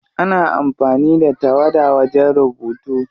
Ana amfani da tawada wajen rubutu.